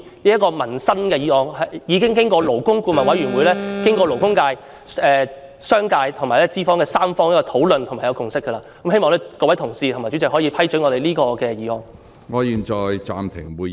這項涉及民生的《條例草案》已經勞工顧問委員會、勞工界、商界和資方三方討論並已達成共識，希望各位同事支持，以及希望主席批准這項議案。